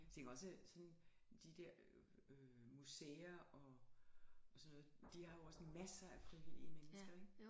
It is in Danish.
Jeg tænker også sådan de der museer og og sådan noget de har jo også masser af frivillige mennesker ikke